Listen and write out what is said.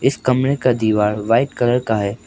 इस कमरे का दीवार व्हाईट कलर का है।